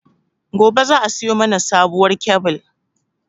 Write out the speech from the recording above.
Gobe za a siyo mana sabuwar kyabil